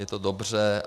Je to dobře.